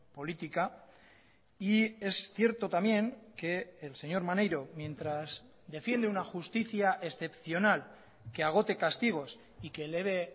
política y es cierto también que el señor maneiro mientras defiende una justicia excepcional que agote castigos y que eleve